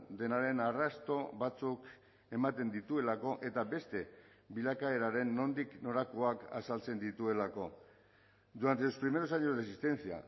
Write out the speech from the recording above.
denaren arrasto batzuk ematen dituelako eta beste bilakaeraren nondik norakoak azaltzen dituelako durante los primeros años de existencia